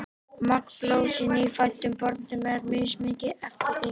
magn blóðs í nýfæddum börnum er mismikið eftir þyngd